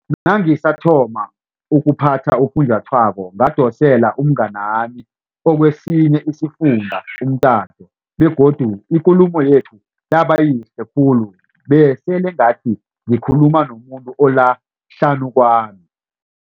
Nangisathoma ukuphatha ufunjathwako ngadosela umnganami okwesinye isifunda umtato begodu ikulumo yethu yaba yihle khulu besele ngathi ngikhuluma nomuntu ola hlanu kwami.